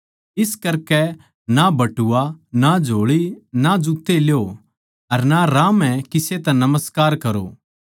इस करकै ना बटुआ ना झोळी ना जुत्ते ल्यो अर ना राह म्ह किसे तै नमस्कार करो